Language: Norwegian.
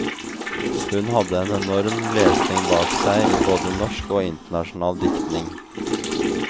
Han hadde en enorm lesning bak seg i både norsk og internasjonal diktning.